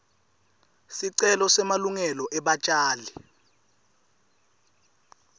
sicelo semalungelo ebatjali